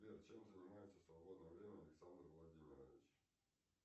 сбер чем занимается в свободное время александр владимирович